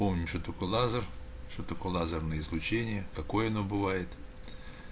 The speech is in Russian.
помнишь что такое лазер что такое лазерное излучение какое оно бывает